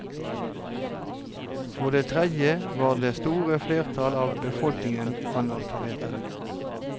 For det tredje var det store flertall av befolkningen analfabeter.